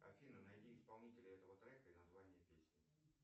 афина найди исполнителя этого трека и название песни